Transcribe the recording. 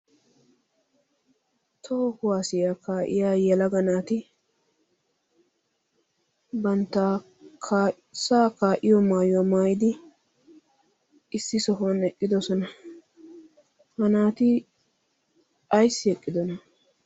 Toho kuwaasiya kaa'iya yelaga naati banta kaasaa kaa'iyo maayuwa maayidi sohuwan eqqidosona. ha naati ayssi eqqidonaa?